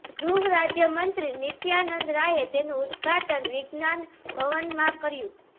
ગૃહ રાજ્ય મંત્રી નિત્યાનંદ રાયે તેનું ઉદઘાટન વિજ્ઞાન ભવનમાં કર્યું